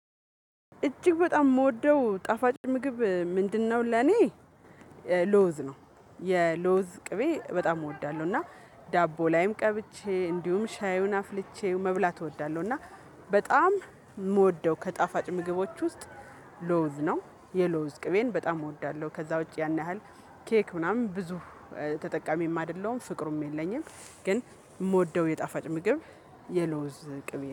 እጅግ በጣም የምወደው ጣፋጭ ምግብ ምንድነው? ለኔ ለውዝ ነው የለውዝ ቅቤ በጣም እወዳለሁ። እና ዳቦ ላይም ቀብቼ እንዲሁም ሻዩን አፍልቼ መብላት እወዳለሁ። እና በጣም የምወደው ከጣፋጭ ምግቦች ውስጥ ለውዝ ነው የለውዝ ቅቤን በጣም እወዳለሁ። ከዛ ውጪ ያን ያህል ኬክ ምናምን ብዙ ተጠቃሚም አይደለሁም ፍቅሩም የለኝም። ግን የምወደው የጣፋጭ ምግብ የለውዝ ቅቤ